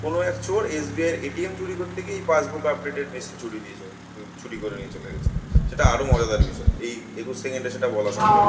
কোন এক চোর এস .বি .আই এর এ .টি .এম চুরি করতে গিয়ে এই পাসবুক আপডেট এর মেশিন চুরি নিয়ে চলে গে চুরি করে নিয়ে চলে গেছিল। সেটা আরো মজাদার বিষয় এই একুশ সেকেন্ডে সেটা বলা সম্ভব না।